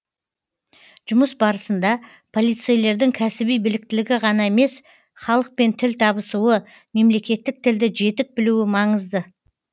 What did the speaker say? жұмыс барысында полицейлердің кәсіби біліктілігі ғана емес халықпен тіл табысуы мемлекеттік тілді жетік білуі маңызды